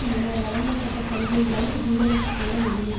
முன்னர் வழங்கப்பட்ட சலுகைகளை ஜீரணித்துக்கொள்ள முடியவில்